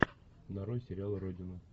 нарой сериал родина